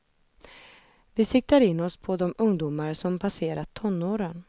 Vi siktar in oss på de ungdomar som passerat tonåren.